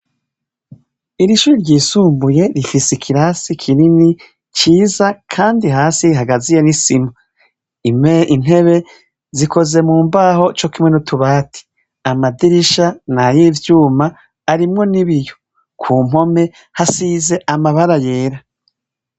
Irishure ry'isumbuye rifise ikirasi kinini ciza kandi hagaziye nisima, intebe zikoze mumbaho cokimwe n'utubati amadirisha nayivyuma arimwo n'ibiyo. Kumpome hasize amabara yera.